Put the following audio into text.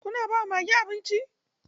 Kuna ba wa mage abinci?